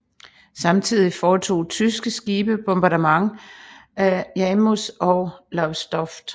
Samtidig foretog tyske skibe bombardement af Yarmouth og Lowestoft